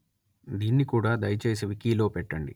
దీన్ని కూడా దయచేసి వికి లో పెట్టండి